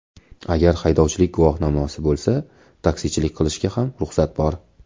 Agar haydovchilik guvohnomasi bo‘lsa, taksichilik qilishga ham ruxsat bor.